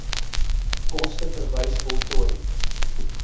koste verwys voltooi